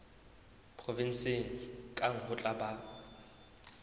provenseng kang ho tla ba